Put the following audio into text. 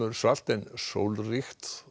svalt en sólríkt